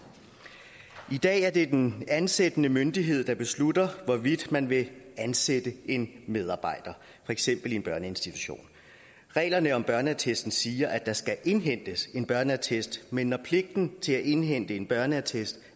i dag er det den ansættende myndighed der beslutter hvorvidt man vil ansætte en medarbejder for eksempel i en børneinstitution reglerne om børneattesten siger at der skal indhentes en børneattest men når pligten til at indhente en børneattest